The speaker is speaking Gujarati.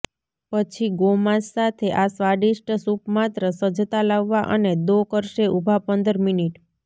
પછી ગોમાંસ સાથે આ સ્વાદિષ્ટ સૂપ માત્ર સજ્જતા લાવવા અને દો કરશે ઊભા પંદર મિનિટ